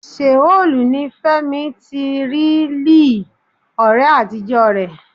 Seoul ni Fẹ́mi ti rí Lee, ọ̀rẹ́ àtijọ́ rẹ̀.